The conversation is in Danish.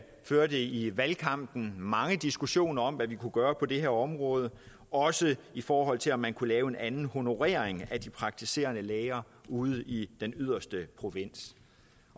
førte i valgkampen mange diskussioner om hvad vi kunne gøre på det her område også i forhold til om man kunne lave en anden honorering af de praktiserende læger ude i den yderste provins